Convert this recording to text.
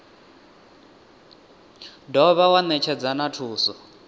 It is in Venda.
dovha wa netshedza na thuso